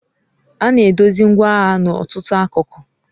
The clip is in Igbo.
Ana edozi ngwaahịa n'ọtụtụ akụkụ